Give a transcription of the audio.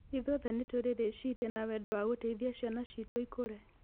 Ithuothe nĩ tũrĩ rĩciria na wendo wa gũteithia ciana citũ ikũre.